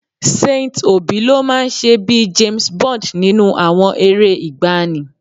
Saint Obi ló máa ń ṣe bíi James Bond nínú àwọn eré ìgbàanì